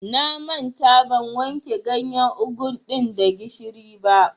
Na manta ban wanke ganyar ogun ɗin da gishiri ba.